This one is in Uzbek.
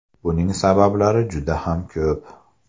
Buning sabablari juda ham ko‘p.